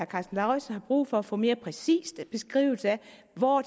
karsten lauritzen har brug for at få en mere præcis beskrivelse af hvor